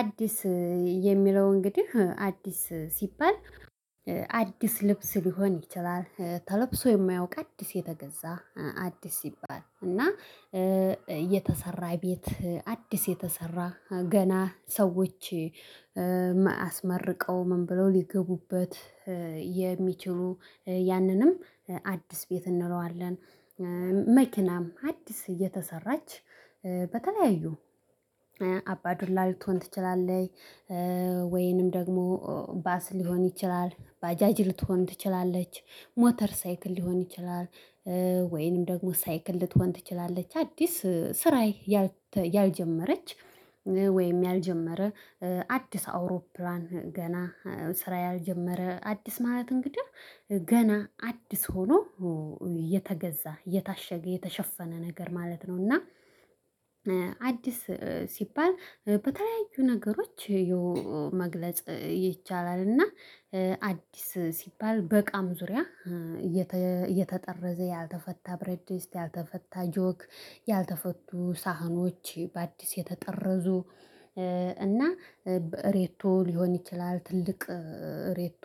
አዲስ የሚለው እንግዲህ አዲስ ሲባል አዲስ ልብስ ሊሆን ይችላል ተለብሶ የማያውቅ አዲስ የተገዛ አዲስ ሲባል እና የተሰራ ቤት አዲስ የተሰራ ገና ሰዎች አስመርቀው ምን ብለው ሊገቡበት የሚችሉ ያንንም አዲስ ቤት እንለዋለን። መኪናም አዲስ እየተሰራች በተለያዩ አባ ዱላ ልትሆን ትችላለች። ወይንም ደግሞ ባስ ሊሆን ይችላል ባጃጅ ልትሆን ትችላለች ሞተር ሳይክል ሊሆን ይችላል። ወይንም ደግሞ ሳይክል ልትሆን ትችላለች አዲስ ስራ ያልጀመረች። ወይም ያልጀመረ አዲስ አውሮፕላን ገና ስራ ያልጀመረ አዲስ ማለት እንግዲህ ገና አዲስ ሆኖ የተገዛ የታሸገ የተሸፈነ ነገር ማለት ነው። እና አዲስ ሲባል በተለያዩ ነገሮች መግለጽ ይቻላል። እና አዲስ ሲባል በእቃም ዙሪያ የተጠረዘ ያልተፈታ ብረድስት ያልተፈታ ጆክ ያልተፈቱ ሳህኖች በአዲስ የተጠረዙ። እና ሬቶ ሊሆን ይችላል ትልቅ ሬቶ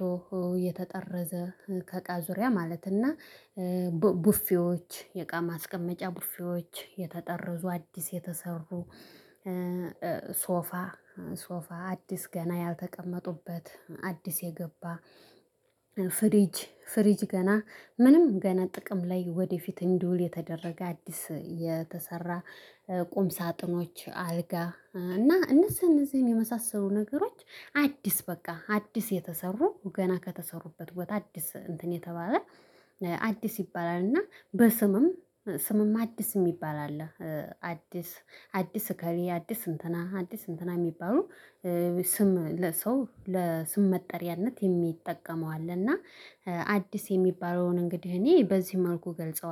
የተጠረዘ ከቃ ዙሪያ ማለትና ቡፊዎች የእቃ ማስቀመጫ ቡፌዎች የተጠረዙ አዲስ የተሰሩ። ሶፋ አዲስ ገና ያልተቀመጡበት አዲስ የገባ ፍሪጅ ፍሪጅ ገና ምንም ገና ጥቅም ላይ ወደፊት እንዲውል የተደረገ አዲስ የተሰራ። ቁም ሳጥኖች አልጋ እና እነዚህ እነዚህን የመሳሰሉ ነገሮች አዲስ በቃ አዲስ የተሰሩ ገና ከተሰሩበት ቦታ አዲስ እንትን የተባለ አዲስ ይባላል። እና በስምም ስምም አዲስ የሚባል አለ። አዲስ አዲስ እከሌ አዲስ እንትና አዲስ እንትና የሚባሉ ስም ለሰው ለስም መጠሪያነት የሚጠቀመው አለ። እና አዲስ የሚባለውን እንግዲህ እኔ በዚህ መልኩ እገልጸዋለሁ